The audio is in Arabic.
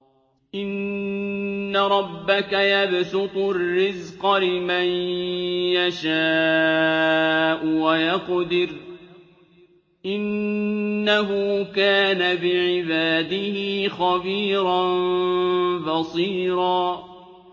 إِنَّ رَبَّكَ يَبْسُطُ الرِّزْقَ لِمَن يَشَاءُ وَيَقْدِرُ ۚ إِنَّهُ كَانَ بِعِبَادِهِ خَبِيرًا بَصِيرًا